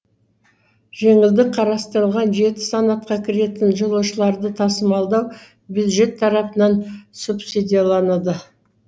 жеңілдік қарастырылған жеті санатқа кіретін жолаушыларды тасымалдау бюджет тарапынан субсидияланады